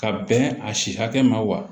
Ka bɛn a si hakɛ ma wa